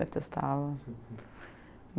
Detestava.